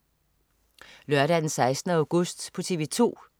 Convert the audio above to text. Lørdag den 16. august - TV 2: